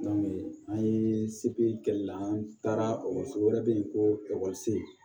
an ye segi kɛ an taara ekɔliso wɛrɛ bɛ yen ko ekɔliso